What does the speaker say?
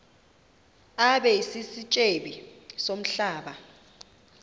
abe sisityebi somhlaba